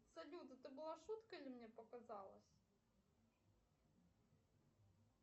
салют это была шутка или мне показалось